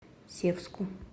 севску